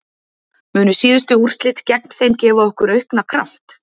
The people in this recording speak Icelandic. Munu síðustu úrslit gegn þeim gefa okkur auka kraft?